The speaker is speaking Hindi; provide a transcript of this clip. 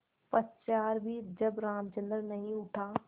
पश्चार भी जब रामचंद्र नहीं उठा